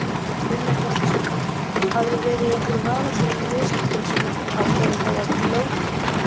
Brynja Þorgeirsdóttir: Hafið þið verið í einhverjum vafasömum viðskiptum sem að eru þá jafnvel lögbrot?